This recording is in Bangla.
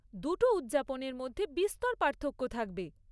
দুটো উদযাপনের মধ্যে বিস্তর পার্থক্য থাকবে।